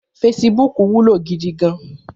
Fésibúk wúló gidi gàn